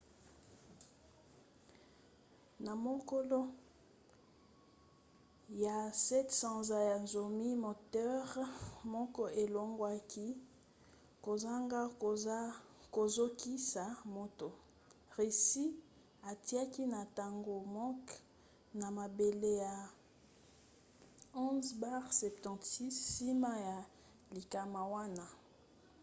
na mokolo ya 7 sanza ya zomi moteur moko elongwaki kozanga kozokisa moto. russie atiaki na ntango moke na mabele ba il-76 nsima ya likama wana